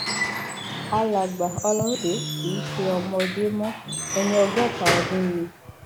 alàgbà ọlọrunǹdè kì í ṣe ọmọdé mọ ẹni ọgọta ọdún ni